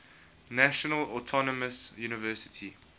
national autonomous university